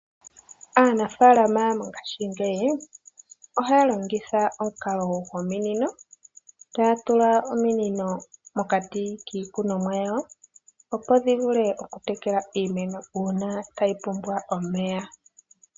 Aanafalama mongashingeyi ohaya longitha omukalo gominino, taya tula ominino mokati kiikunomwa yawo, opo dhi vule okutekela iimeno uuna tayi pumbwa omeya.